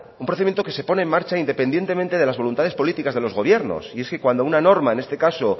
un procedimiento que se pone en marcha independientemente de las voluntades políticas de los gobiernos y es que cuando una norma en este caso